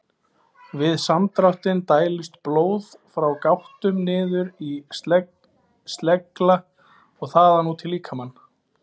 Við samdráttinn dælist blóð frá gáttum niður í slegla og þaðan út í líkamann.